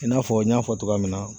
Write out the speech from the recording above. I n'a fɔ n y'a fɔ cogoya min na.